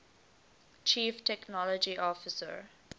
chief technology officer